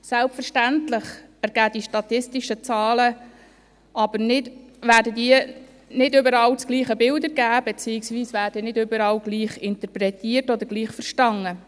Selbstverständlich werden die statistischen Zahlen nicht überall das gleiche Bild ergeben, beziehungsweise sie werden nicht überall gleich interpretiert oder gleich verstanden.